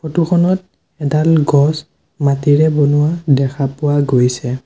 Photo খনত এডাল গছ মাটিৰে বনোৱা দেখা পোৱা গৈছে।